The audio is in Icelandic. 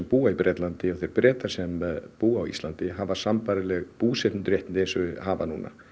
búa í Bretlandi og Breta sem búa á Íslandi hafa sambærilegu búseturéttindi og þau hafa núna